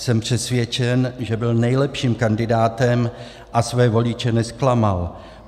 Jsem přesvědčen, že byl nejlepším kandidátem a své voliče nezklamal.